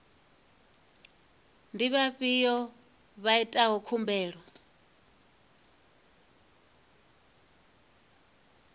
ndi vhafhio vha itaho khumbelo